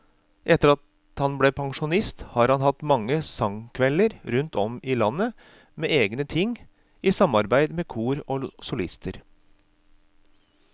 Etter at han ble pensjonist har han hatt mange sangkvelder rundt om i landet med egne ting, i samarbeid med kor og solister.